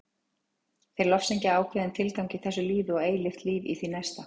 Þeir lofsyngja ákveðinn tilgang í þessu lífi og eilíft líf í því næsta.